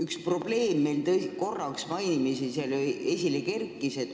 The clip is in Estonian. Üks probleem meil korraks mainimisi esile kerkis.